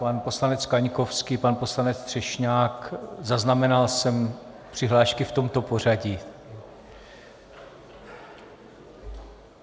Pan poslanec Kaňkovský, pan poslanec Třešňák - zaznamenal jsem přihlášky v tomto pořadí.